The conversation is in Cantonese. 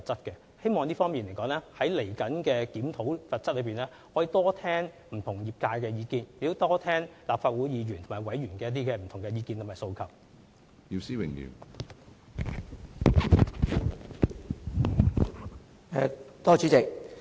關於這方面，希望稍後在檢討有關罰則時，可以多聽取不同業界的意見，以及立法會議員和委員的意見及訴求。